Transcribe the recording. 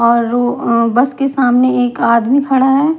और बस के सामने एक आदमी खड़ा है।